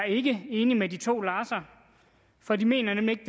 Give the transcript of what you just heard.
ikke enig med de to larser for de mener nemlig ikke